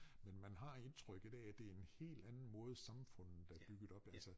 Men man har indtrykket af at det en helt anden måde samfundet er bygget op altså